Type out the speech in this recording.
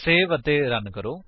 save ਅਤੇ run ਕਰੋ